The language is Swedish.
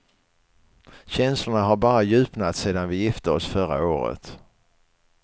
Känslorna har bara djupnat sedan vi gifte oss förra året.